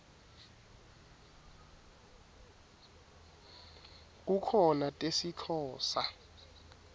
kukhona tesixhosa